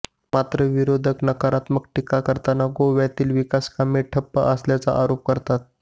मात्र विरोधक नकारात्मक टीका करताना गोव्यातील विकासकामे ठप्प असल्याचा आरोप करतात